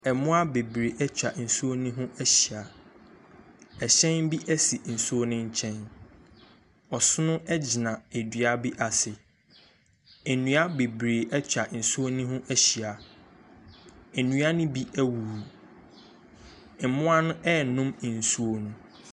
Mmoa bebree atwa nsuo no ho ahyia, ɛhyɛn bi si nsu no nkyɛn. Ɔsono bi gyina dua bi ase. Nnua bebree atwa nsuo no ho ahyia. Nnua no bi awuwu. Mmoa no renom nsuo no.